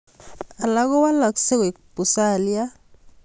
Alak ko walaksei koek pusalia